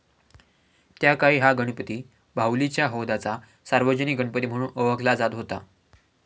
त्याकाळी हा गणपती बाहुलीच्या हौदाचा सार्वजनिक गणपती म्हणून ओळखला जात होता.